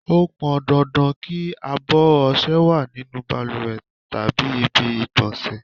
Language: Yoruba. Ó pọn dandan kí abọ̀ ọṣẹ wá nínú bàlùwẹ̀ tàbí ibi ìgbọ̀nsẹ̀.